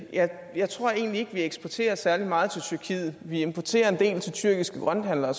jeg tror egentlig ikke at vi eksporterer særlig meget til tyrkiet vi importerer en del til tyrkiske grønthandlere og